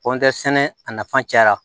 sɛnɛ a nafa cayara